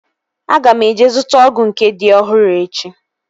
Aga m eje zụta ọgụ nke dị ọhụrụ echi